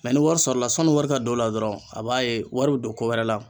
ni wari sɔrɔ la sanni wari ka don o la dɔrɔn a b'a ye wari bɛ don ko wɛrɛ la.